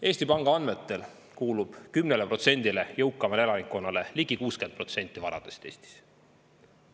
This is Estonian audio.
Eesti Panga andmetel kuulub 10%-le jõukamale elanikkonnale ligi 60% varadest Eestis.